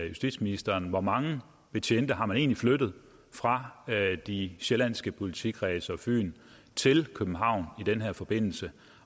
justitsministeren hvor mange betjente har man egentlig flyttet fra de sjællandske politikredse og fyn til københavn i den her forbindelse